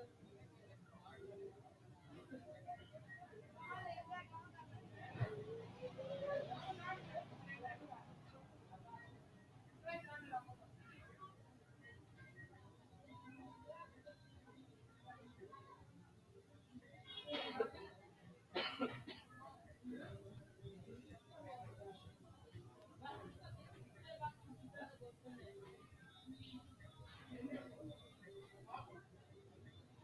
addi addi horo afirinno afirinno horono babbaxinore manchu wolqqara aleeni higinore haare harate hakiininno saenno hendooniwa rahe mare iilate lowo horo aanno